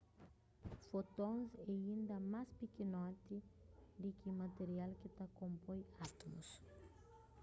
fótons é inda más pikinoti di ki material ki ta konpoi átumus